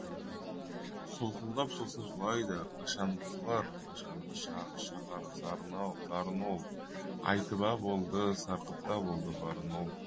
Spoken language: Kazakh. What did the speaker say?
солқылдап сосын жылайды қашанғы жылар қашанғы шығар шағар зарын ол айтып а болды сарқып та болды барын ол